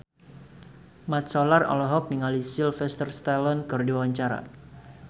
Mat Solar olohok ningali Sylvester Stallone keur diwawancara